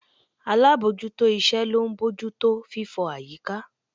Alábòójútó iṣẹ́ ló ń bójú tó fífọ̀ àyíká